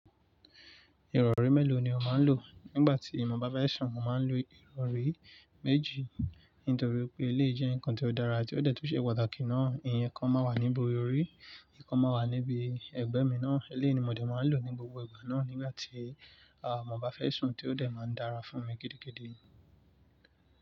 Ìrọ̀rí mélòó ni o máa ń lò? Nígbà tí mo bá fẹ́ sùn, mo máa ń lo ìrọ̀rí méjì, nítorí pé eléyìí jẹ́ nǹkan tí ó dára ti ó dẹ̀ tún ṣe pàtàkì náà. Ìyẹn ikan máa wà ní ibi orí, ìkan máa wà níbi ẹgbẹ́ mi náà. Eléyìí ni mo dẹ̀ máa ń lò ní gbogbo ìgbà náà nígbà tí, à, mo bá fẹ́ sùn tí ó dẹ̀ máa ń dára fún mi gidigidi.